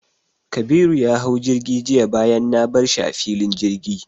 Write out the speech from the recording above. Kabiru ya hau jirgi jiya bayan na bar shi a filin jirgi.